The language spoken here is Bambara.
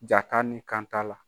Ja ka ni kan t'a la.